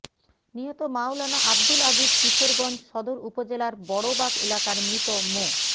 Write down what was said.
নিহত মাওলানা আবদুল আজিজ কিশোরগঞ্জ সদর উপজেলার বড়বাগ এলাকার মৃত মো